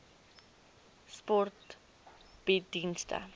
sport bied dienste